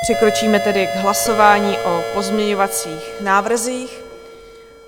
Přikročíme tedy k hlasování o pozměňovacích návrzích.